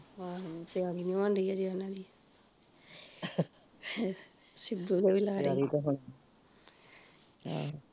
ਆਹੋ ਤਿਆਰੀ ਨੀ ਹੋਣ ਡਈ ਜੇ ਉਹਨਾਂ ਦੀ ਸਿੱਧੂ ਦੇ ਵੇ ਲਾਰੇ ਆਹ